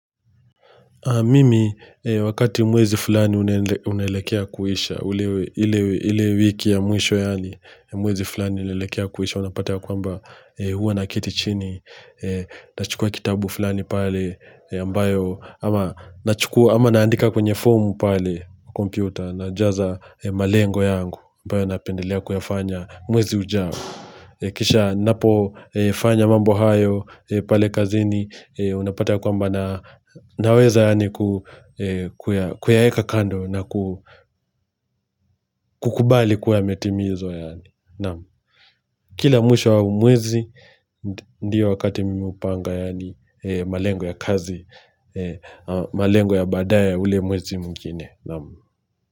Mimi, wakati mwezi fulani unaelekea kuisha, ile wiki ya mwisho yaani, mwezi fulani unaelekea kuisha, unapata ya kwamba huwa naketi chini, nachukua kitabu fulani pale ambayo, ama naandika kwenye fomu pale, kompyuta, najaza malengo yangu, ambayo napendelea kuyafanya mwezi ujao. Kisha napofanya mambo hayo pale kazini unapata ya kwamba na naweza yaani kuyaeka kando na kukubali kuwa yametimizwa yaani Kila mwisho wa mwezi ndiyo wakati mimi upanga yaani malengo ya kazi malengo ya baadaye ule mwezi mwingine.